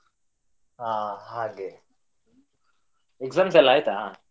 ಹಾ ಹಾಗೆ exams ಎಲ್ಲಾ ಆಯ್ತಾ?